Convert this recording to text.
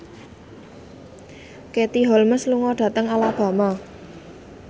Katie Holmes lunga dhateng Alabama